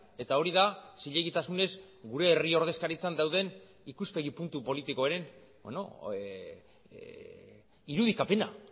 eta hori da zilegitasunez gure herri ordezkaritzan dauden ikuspegi puntu politikoren irudikapena